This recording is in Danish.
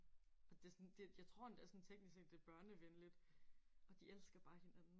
Og det sådan det og jeg tror endda sådan teknisk set det er børnevenligt. Og de elsker bare hinanden